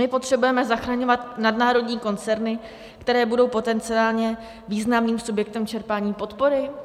My potřebujeme zachraňovat nadnárodní koncerny, které budou potenciálně významným subjektem čerpání podpory?